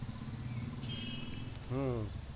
হম